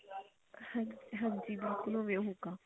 ਹਾਨੀ ਹਾਂਜੀ ਬਿਲਕੁਲ ਓਵੇਂ ਹੋਏਗਾ